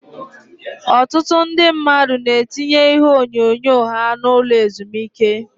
Ọtụtụ ndị mmadụ na-etinye ihe onyonyo ha n'ụlọ ezumike.